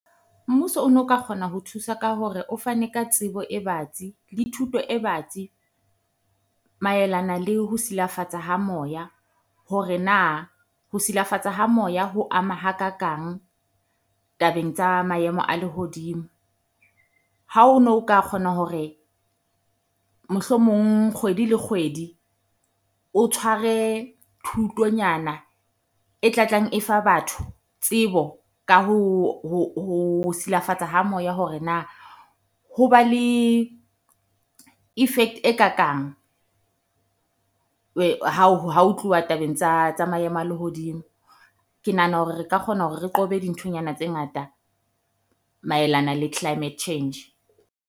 Mmuso o no ka kgona ho thusa ka hore o fane ka tsebo e batsi le thuto e batsi. Maelana le ho silafatsa ha moya hore na, ho ha Moya ho ama ha kakang tabeng tsa maemo a lehodimo. Ha o no o ka kgona hore mohlomong kgwedi le kgwedi o tshware thuto nyana e tla tlang e fa batho tsebo ka ho silafatsa ha moya hore na ho ba le effect e kakang hao tluwa tabeng tsa maemo a lehodimo. Ke nahana hore re ka kgona hore re qobe dinthonyana tse ngata maelana le climate change.